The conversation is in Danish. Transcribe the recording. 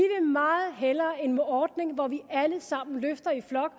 meget hellere en ordning hvor vi alle sammen løfter i flok